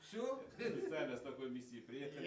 все специально с такой миссией приехали